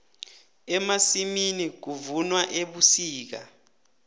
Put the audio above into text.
emasimini kuvunwa ebusika